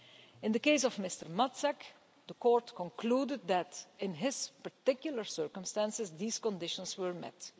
In the case of Mr Matzak, the Court concluded that, in his particular circumstances, these conditions were met.